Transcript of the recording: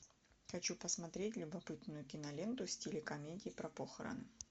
хочу посмотреть любопытную киноленту в стиле комедии про похороны